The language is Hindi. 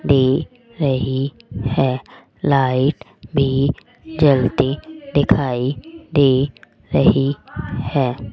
दे रही है लाइट भी जलती दिखाई दे रही है।